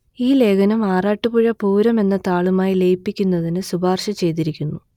ഈ ലേഖനം ആറാട്ടുപുഴ പൂരം എന്ന താളുമായി ലയിപ്പിക്കുന്നതിന് ശുപാർശ ചെയ്തിരിക്കുന്നു